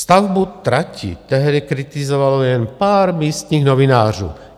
Stavbu trati tehdy kritizovalo jen pár místních novinářů.